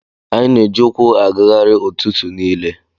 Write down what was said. Anyị na-eji ụkwụ agagharị ụtụtụ niile.